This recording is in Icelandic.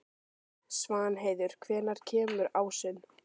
Svanheiður, hvenær kemur ásinn?